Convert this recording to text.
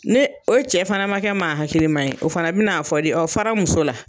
Ne o cɛ fana ma kɛ maa hakilima ye, o fana bɛn'a fɔ de fara n muso la.